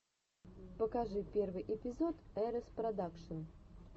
покажи первый эпизод эрэс продакшн